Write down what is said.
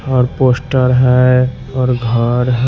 और पोस्टर है और घर--